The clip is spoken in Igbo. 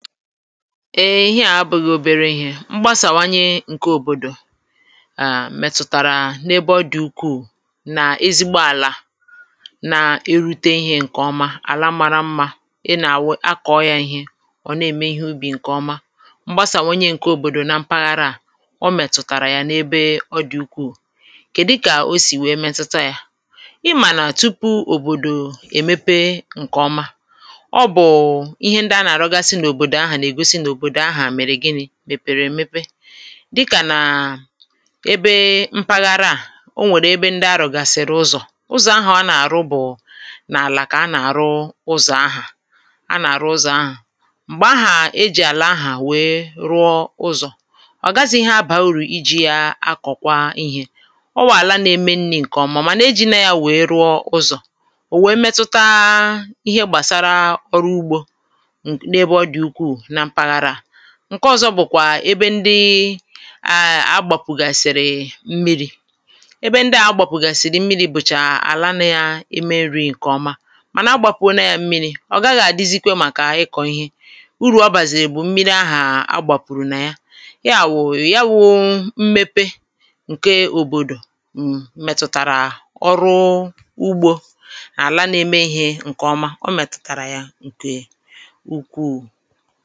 Eè ihe à bụ̀ghị̀ obere ihė mgbasàwanye ǹke òbòdò um mẹ̀tutàrà n’ebe ọdị̀ ukwuù nà ezigbo àlà na-erute ihė ǹkè ọma àla mara mmȧ ị nà-akọ̀ọ yȧ ihė ọ̀ nà-ème ihe ubì ǹkè ọma mgbasàwanye ǹke òbòdò na mpaghara à ọ mẹ̀tùtàrà yà n’ebe ọ dị̀ ukwuù kèdụ kà o sì wee mẹtụta yȧ ị mànà tupu òbòdò èmepe ǹkè ọma ọ bu ihe ndị a na arugasi na obodo ahụ na egosi na obodo ahụ mere gịnị mepere èmepe dịkà nà ebe mpaghara à o nwèrè ebe ndị a rụ̀gasị̀rị ụzọ̀ ụzọ̀ ahụ a nà-àrụ bụ̀ n’àlà kà a nà-àrụ ụzọ̀ ahụ a nà-àrụ ụzọ̀ ahụ m̀gbè ahụ ejì àlà ahụ wee rụọ ụzọ̀ ọ̀ gazi ihe abà urù iji̇ ya akọ̀kwa ihė ọ bu àla na-eme nri̇ ṅ̀kè ọmà mà na-ejì na yȧ wee rụọ ụzọ̀ ò wee metuta[paues] ihe gbàsara [paues]ọrụ ugbȯ ụm n'ebe ọdi ukwuuna mpaghara a ǹke ọ̀zọ bụ̀kwà ebe ndị um agbàpụ̀gàsìrì mmiri̇ ebe ndị à agbàpụ̀gàsìrì mmiri̇ bụ̀chà àlà nà ya eme nri̇ ǹkèọma mànà a gbàpụ̀o na yȧ mmiri̇ ọ̀ gaghị̇ àdizikwa màkà ịkọ̀ ihe urù ọ bàzìri bụ̀ mmiri ahụ̀ agbàpụ̀rụ̀ nà ya ya bu ya bu mmepe ǹke òbòdò um mmètụ̀tàrà ọrụ ugbȯ àlà na-eme ihė ǹkè ọma ọ mètụ̀tàrà ya ǹkè ukwuu